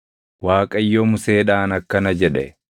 Waaqayyo Museedhaan akkana jedhe;